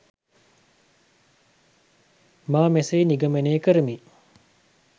මා මෙසේ නිගමනය කරමි